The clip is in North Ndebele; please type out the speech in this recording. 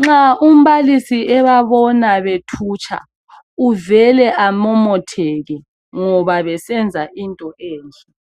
nxa umbalisi ebabona bethutsha uvele amomotheke ngoba besenza into enhle.